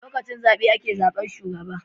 Lokacin zabe ake zabar shugaba